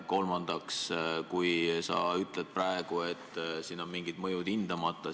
Kolmandaks, sa ütled praegu, et siin on mingid mõjud hindamata.